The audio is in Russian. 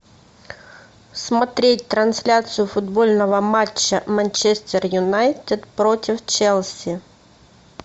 смотреть трансляцию футбольного матча манчестер юнайтед против челси